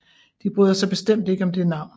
De bryder sig bestemt ikke om det navn